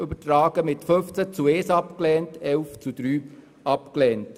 Diese Anträge wurden mit 15 zu 1 Stimme, beziehungsweise mit 11 zu 3 Stimmen abgelehnt.